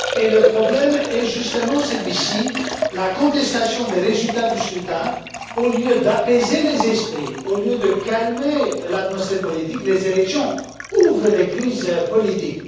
Le problème est justement celui de la contestation des résultats du scrutin. Au lieu d'apaiser les esprits, au lieu de calmer l'atmosphère politique, les élections donnent lieu à des crises politiques.